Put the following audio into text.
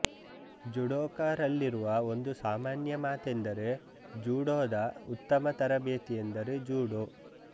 ಜೂಡೋಕರಲ್ಲಿರುವ ಒಂದು ಸಾಮಾನ್ಯ ಮಾತೆಂದರೆ ಜೂಡೋದ ಉತ್ತಮ ತರಬೇತಿಯೆಂದರೆ ಜೂಡೋ